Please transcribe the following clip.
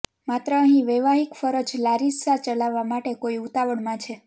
માત્ર અહીં વૈવાહિક ફરજ લારિસ્સા ચલાવવા માટે કોઈ ઉતાવળમાં છે